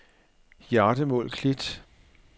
Hjardemål Klit